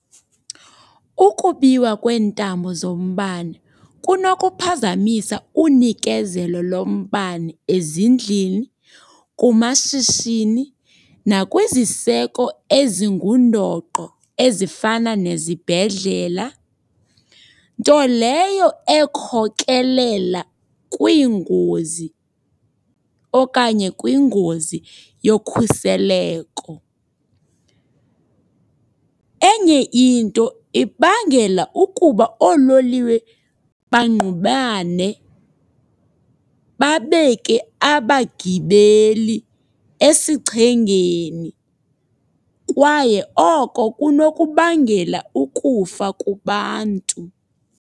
Ukubiwa kweentambo zombane kunokuphazamisa unikezelo lombane ezindlini, kumashishini nakwizisiseko ezingundoqo, ezifana nezibhedlela. Nto leyo ekhokelela kwiingozi okanye kwingozi yokhuseleko. Enye into ibangela ukuba oololiwe bangqubane, babeke abagibeli esichengeni. Kwaye oko kunokubangela ukufa kubantu.